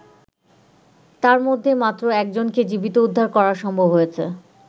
তারমধ্যে মাত্র একজনকে জীবিত উদ্ধার করা সম্ভব হয়েছে।